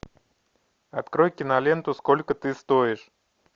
открой киноленту сколько ты стоишь